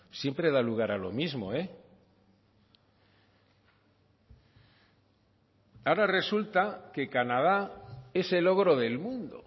siempre da lugar a lo mismo ahora resulta que canadá es el ogro del mundo